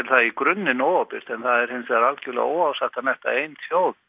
það í grunninn óábyrgt en það er hins vegar algjörlega óásættanlegt að ein þjóð